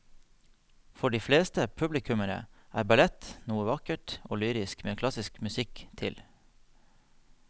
For de fleste publikummere er ballett noe vakkert og lyrisk med klassisk musikk til.